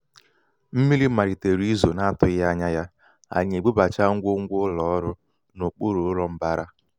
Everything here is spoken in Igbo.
mmiri malitere izo n'atụghị ányá ya anyị ebubachaa ngwongwo um ụlọ ọrụ n'okpuru ụlọ mbara.